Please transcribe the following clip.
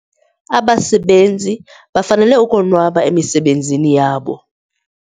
Abasebenzi bafanele ukonwaba emisebenzini yabo.